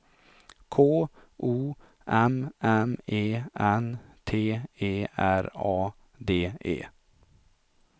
K O M M E N T E R A D E